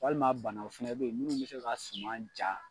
Walima bana o fɛnɛ be yen munnu mi se ka suman ja